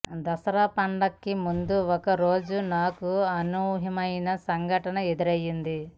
దసరా పండగకి ముందు ఒక రోజున నాకు ఒక అనూహ్యమైన సంఘటన ఎదురైంది